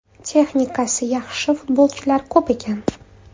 Texnikasi yaxshi futbolchilar ko‘p ekan.